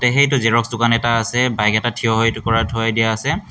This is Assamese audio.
এ সেইটো জেৰক্স দোকান এটা আছে বাইক এটা থিয় হৈ এইটো কৰাই থৈ দিয়া আছে।